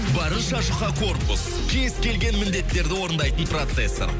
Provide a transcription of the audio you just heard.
барынша жұқа корпус кез келген міндеттерді орындайтын процессор